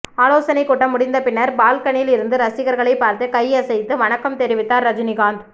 ஆலோசனை கூட்டம் முடிந்த பின்னர் பால்கனியில் இருந்து ரசிகர்களை பார்த்து கை அசைத்து வணக்கம் தெரிவித்தார் ரஜினிகாந்த்